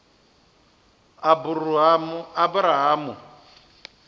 aburahamu